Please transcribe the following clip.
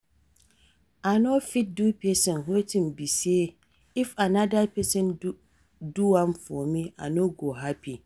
I no fit do pesin wetin be say, if anoda pesin do am for me, I no go happy.